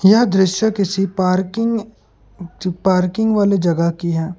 यह दृश्य किसी पार्किंग पार्किंग वाले जगह की है।